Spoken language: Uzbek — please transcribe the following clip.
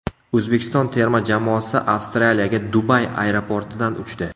O‘zbekiston terma jamoasi Avstraliyaga Dubay aeroportidan uchdi.